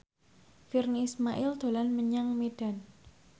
Virnie Ismail dolan menyang Medan